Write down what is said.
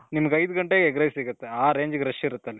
ನಿಮುಗ್ ಐದು ಗಂಟೆಗೆ egg rice ಸಿಗುತ್ತೆ. ಆ range ಗೆ rush ಇರುತ್ತಲ್ಲಿ.